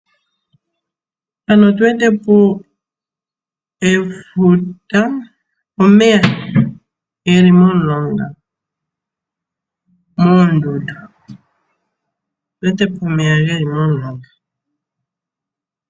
Mpano otu wete po efuta nomeya ge li momulonga moondundu. Otu wete po omeya ge li momulonga.